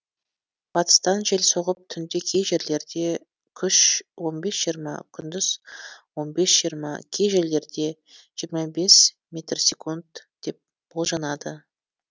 батыстан жел соғып түнде кей жерлерде күш он бес жиырма күндіз он бес жиырма кей жерлерде жиырма бес метр секунд деп болжанады